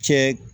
Cɛ